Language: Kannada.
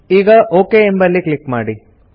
ಈಗ ಒಕ್ ಎಂಬಲ್ಲಿ ಕ್ಲಿಕ್ ಮಾಡಿ